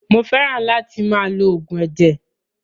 Mó fẹràn láti máa lo oògùn ẹ̀jẹ̀.